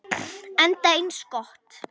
Enda eins gott.